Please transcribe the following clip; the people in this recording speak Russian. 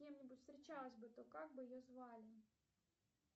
с кем нибудь встречалась бы то как бы ее звали